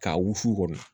K'a wusu kɔnɔ